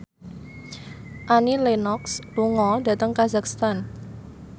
Annie Lenox lunga dhateng kazakhstan